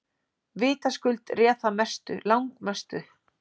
Vitaskuld réð það mestu, langmestu.